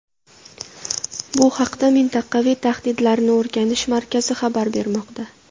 Bu haqda Mintaqaviy tahdidlarni o‘rganish markazi xabar bermoqda .